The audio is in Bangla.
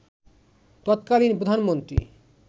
তৎকালীন প্রধানমন্ত্রী